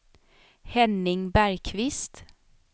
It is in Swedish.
Henning Bergkvist